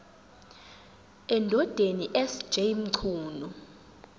endodeni sj mchunu